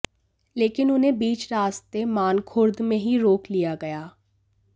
लेकिन उन्हें बीच रास्ते मानखुर्द में ही रोक लिया गया